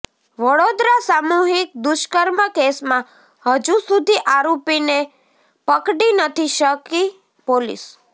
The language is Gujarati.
વડોદરા સામૂહિક દુષ્કર્મ કેસમાં હજુ સુધી આરોપીને પકડી નથી શકી પોલીસ